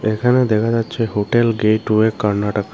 এখানে দেখা যাচ্ছে হোটেল গেট ওয়ে কার্নাটাকা ।